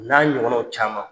N'a ɲɔgɔnanw caman.